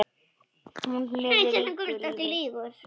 Hún lifði ríku lífi.